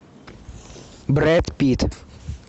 брэд питт